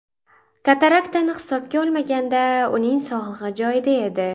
Kataraktani hisobga olmaganda, uning sog‘lig‘i joyida edi.